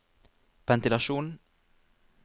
ventilasjon